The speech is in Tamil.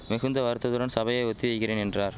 மிகுந்த வருத்தத்துடன் சபையை ஒத்தி வைக்கிறேன் என்றார்